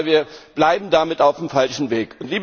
Aber wir bleiben damit auf dem falschen Weg!